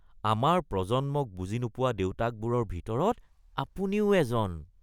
আমাৰ প্ৰজন্মক বুজি নোপোৱা দেউতাকবোৰৰ ভিতৰত আপুনিও এজন